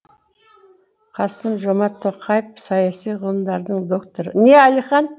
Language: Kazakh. қасым жомарт тоқаев саяси ғылымдардың докторы не алихан